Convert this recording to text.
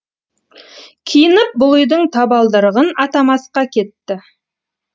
киініп бұл үйдің табалдырығын атамасқа кетті